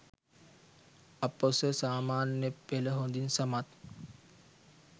අ.පො.ස. සාමාන්‍ය පෙළ හොදින් සමත්